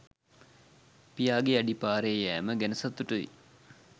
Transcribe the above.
පියාගේ අඩි පාරේ යෑම ගැන සතුටුයි.